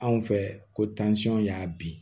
Anw fɛ ko y'a bin